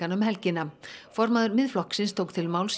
um helgina formaður Miðflokksins tók til máls í